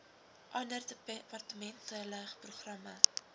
ander departementele programme